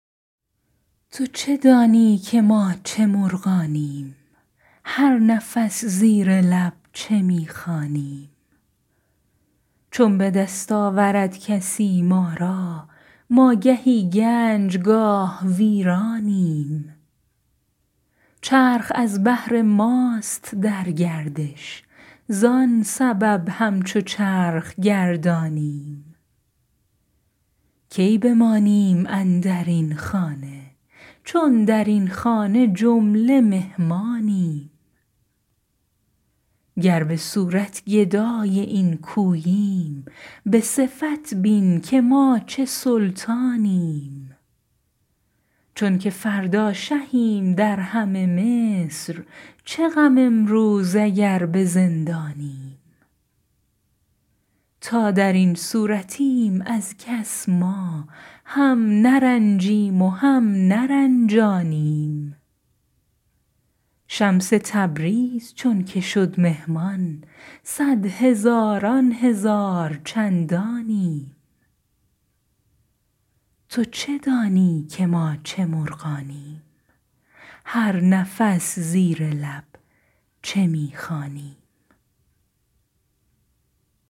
تو چه دانی که ما چه مرغانیم هر نفس زیر لب چه می خوانیم چون به دست آورد کسی ما را ما گهی گنج گاه ویرانیم چرخ از بهر ماست در گردش زان سبب همچو چرخ گردانیم کی بمانیم اندر این خانه چون در این خانه جمله مهمانیم گر به صورت گدای این کوییم به صفت بین که ما چه سلطانیم چونک فردا شهیم در همه مصر چه غم امروز اگر به زندانیم تا در این صورتیم از کس ما هم نرنجیم و هم نرنجانیم شمس تبریز چونک شد مهمان صد هزاران هزار چندانیم